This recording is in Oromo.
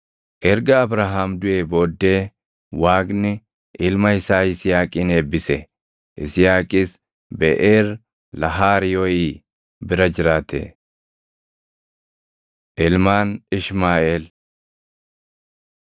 Erga Abrahaam duʼee booddee Waaqni ilma isaa Yisihaaqin eebbise; Yisihaaqis Beʼeer Lahaayirooʼii bira jiraate. Ilmaan Ishmaaʼeel 25:12‑16 kwf – 1Sn 1:29‑31